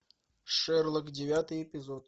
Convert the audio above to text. шерлок девятый эпизод